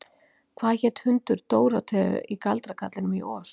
Hvað hét hundur Dórótheu í Galdrakarlinum í Oz?